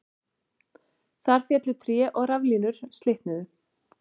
Þar féllu tré og raflínur slitnuðu